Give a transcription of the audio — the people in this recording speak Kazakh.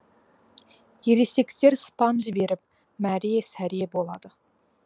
ересектер спам жіберіп мәре сәре болады